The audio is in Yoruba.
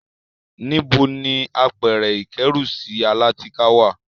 Níbo ni àpẹrẹ-ìkẹ́rùsí alátìká wà?